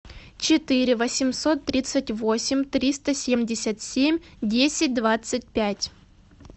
четыре восемьсот тридцать восемь триста семьдесят семь десять двадцать пять